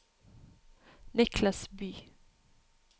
Niclas Bye